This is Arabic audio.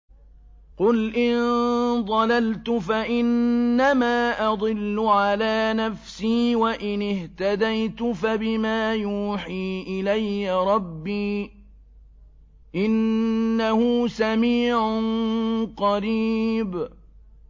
قُلْ إِن ضَلَلْتُ فَإِنَّمَا أَضِلُّ عَلَىٰ نَفْسِي ۖ وَإِنِ اهْتَدَيْتُ فَبِمَا يُوحِي إِلَيَّ رَبِّي ۚ إِنَّهُ سَمِيعٌ قَرِيبٌ